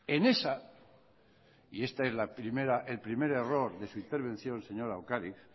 en esta y esta es el primer error de su intervención señora lópez de ocariz